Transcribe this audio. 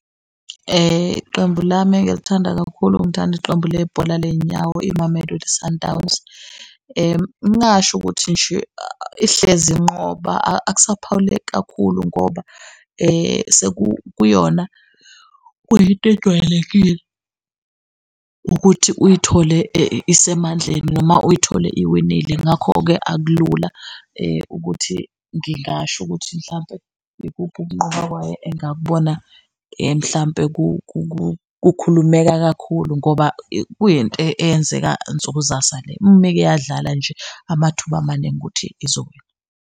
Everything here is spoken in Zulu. Qembu lami engilithanda kakhulu, ngithanda iqembu lebhola ley'nyawo, iMamelodi Sundowns. Ngingasho ukuthi nje ihlezi inqoba akusaphawuleki kakhulu ngoba kuyona kuyinto ejwayelekile ukuthi uyithole isemandleni noma uyithole iwinile. Ngakho-ke akulula ukuthi ngingasho ukuthi mhlampe ikuphi ukunqoba kwayo engakubona mhlampe kukhulumeka kakhulu ngoba kuyinto eyenzeka nsuku zasa le, umeke yadlala nje amathuba maningi ukuthi izowina.